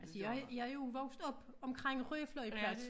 Altså jeg jeg jo vokset op omkring Rye flyveplads